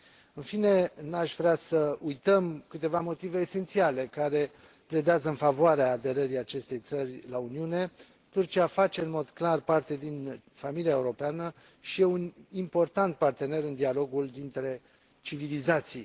În fine, nu aș vrea să uităm câteva motive esențiale care pledează în favoarea aderării acestei țări la Uniune Turcia face în mod clar parte din familia europeană și e un important partener în dialogul dintre civilizații.